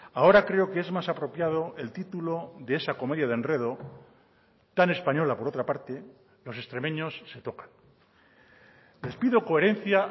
ahora creo que es más apropiado el título de esa comedia de enredo tan española por otra parte los extremeños se tocan les pido coherencia